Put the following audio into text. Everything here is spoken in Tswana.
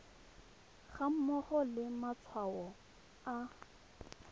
ga mmogo le matshwao a